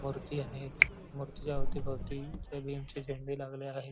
मूर्ती हाये मूर्तीच्या अवतीभोवती जय भीम चे झेंडे लागले आहे.